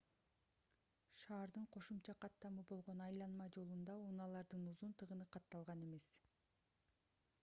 шаардын кошумча каттамы болгон айланма жолунда унаалардын узун тыгыны катталган эмес